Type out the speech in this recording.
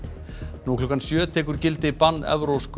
nú klukkan sjö tekur gildi bann evrópsku